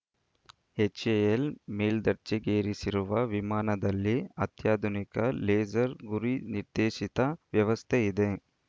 HAL ಮೇಲ್ದರ್ಜೆಗೇರಿಸಿರುವ ವಿಮಾನದಲ್ಲಿ ಅತ್ಯಾಧುನಿಕ ಲೇಸರ್‌ ಗುರಿನಿರ್ದೇಶಿತ ವ್ಯವಸ್ಥೆ ಇದೆ